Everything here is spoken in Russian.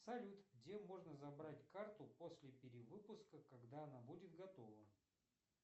салют где можно забрать карту после перевыпуска когда она будет готова